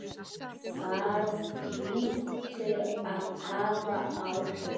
Það hlýtur að hafa áhrif.